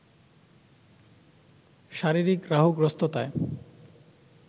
শারীরিক রাহুগ্রস্ততায়